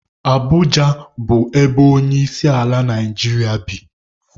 Abụja bụ ebe onyeisiala Naijiria bi.